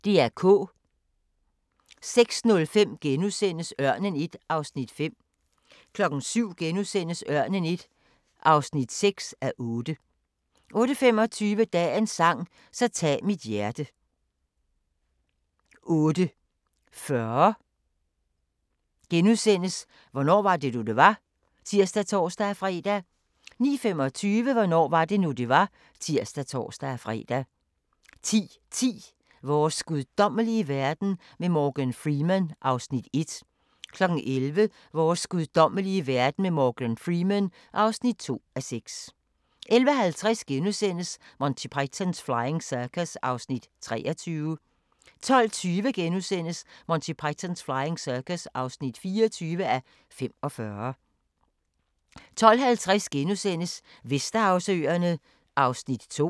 06:05: Ørnen I (5:8)* 07:00: Ørnen I (6:8)* 08:25: Dagens sang: Så tag mit hjerte 08:40: Hvornår var det nu, det var? *(tir og tor-fre) 09:25: Hvornår var det nu, det var? (tir og tor-fre) 10:10: Vores guddommelige verden med Morgan Freeman (1:6) 11:00: Vores guddommelige verden med Morgan Freeman (2:6) 11:50: Monty Python's Flying Circus (23:45)* 12:20: Monty Python's Flying Circus (24:45)* 12:50: Vesterhavsøerne (Afs. 2)*